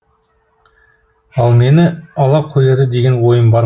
ол мені ала қояды деген ойым бар ма